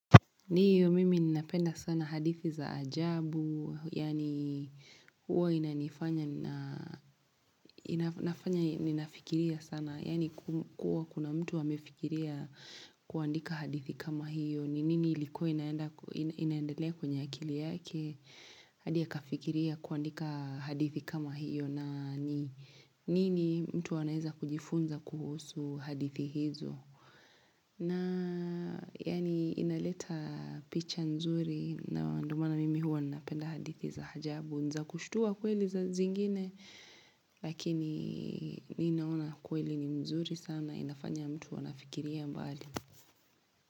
Ndio mimi ninapenda sana hadithi za ajabu, yaani huwa inafanya, nina nafanya fikiria sana, yani kuwa kuna mtu amefikiria kuandika hadithi kama hiyo, ni nini ilikuwa inaendelea kwenye akili yake, hadia akafikiria kuandika hadithi kama hiyo, na nini mtu aneweza kujifunza kuhusu hadithi hizo. Na yani inaleta picha nzuri na ndio maana mimi huwa napenda hadithi za ajabu niza kushhtua kweli saa zingine lakini ninaona kweli ni mzuri sana inafanya mtu anafikiria mbali.